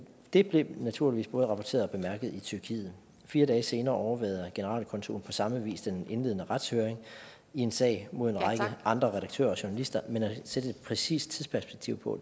det blev naturligvis både rapporteret og bemærket i tyrkiet fire dage senere overværede generalkonsulen på samme vis den indledende retshøring i en sag mod en række andre redaktører og journalister men sætte et præcist tidsperspektiv på